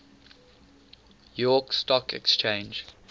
york stock exchange